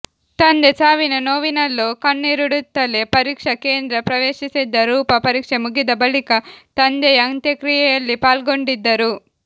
ತಂದೆ ಸಾವಿನ ನೋವಿನಲ್ಲೂ ಕಣ್ಣೀರಿಡುತ್ತಲೇ ಪರೀಕ್ಷಾ ಕೇಂದ್ರ ಪ್ರವೇಶಿಸಿದ್ದ ರೂಪಾ ಪರೀಕ್ಷೆ ಮುಗಿದ ಬಳಿಕ ತಂದೆಯ ಅಂತ್ಯಕ್ರಿಯೆಯಲ್ಲಿ ಪಾಲ್ಗೊಂಡಿದ್ದರು